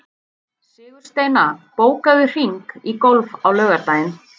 Sigursteina, bókaðu hring í golf á laugardaginn.